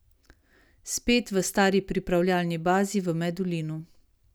Spet v stari pripravljalni bazi v Medulinu.